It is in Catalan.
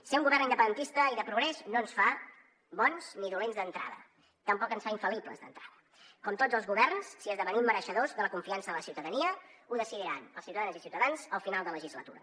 ser un govern independentista i de progrés no ens fa bons ni dolents d’entrada tampoc ens fa infal·libles d’entrada com tots els governs si esdevenim mereixedors de la confiança de la ciutadania ho decidiran els ciutadanes i ciutadans al final de legislatura